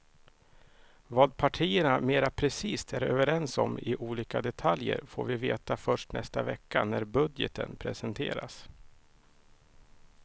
Vad partierna mera precist är överens om i olika detaljer får vi veta först nästa vecka när budgeten presenteras.